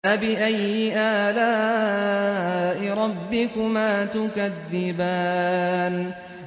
فَبِأَيِّ آلَاءِ رَبِّكُمَا تُكَذِّبَانِ